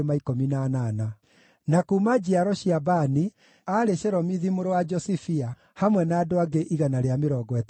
na kuuma njiaro cia Bani, aarĩ Shelomithi mũrũ wa Josifia, hamwe na andũ angĩ 160;